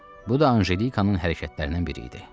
Bu da Anjelikanın hərəkətlərindən biri idi.